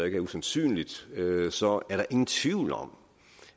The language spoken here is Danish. ikke er usandsynligt så er der ingen tvivl om